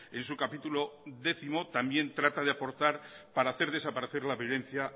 en su capítulo décimo también trata de aportar para hacer desaparecer la violencia